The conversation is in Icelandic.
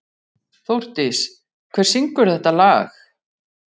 Þórdís, hver syngur þetta lag?